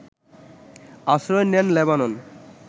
আশ্রয় নেন লেবানন